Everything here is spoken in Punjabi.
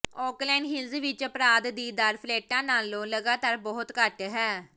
ਓਕਲੈਂਡ ਹਿਲਜ਼ ਵਿਚ ਅਪਰਾਧ ਦੀ ਦਰ ਫਲੈਟਾਂ ਨਾਲੋਂ ਲਗਾਤਾਰ ਬਹੁਤ ਘੱਟ ਹੈ